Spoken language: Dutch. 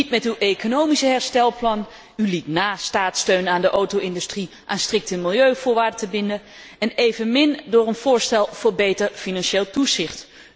Niet met uw economisch herstelplan, u liet na staatssteun aan de auto industrie aan strikte milieuvoorwaarden te binden, en evenmin met een voorstel voor beter financieel toezicht.